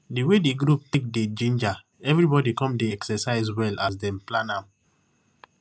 di way di group take dey ginger everybody come make dem dey exercise well as dem plan am